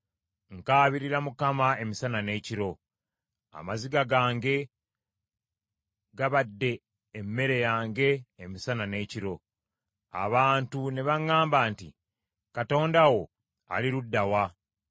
Nkaabirira Mukama emisana n’ekiro. Amaziga gange gabadde emmere yange emisana n’ekiro, abantu ne baŋŋamba nti, “Katonda wo ali ludda wa?”